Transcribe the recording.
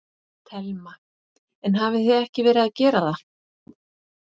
Telma: En hafið þið ekki verið að gera það?